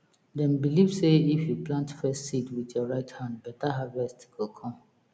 dem believe sey if you plant first seed with your right hand better harvest go come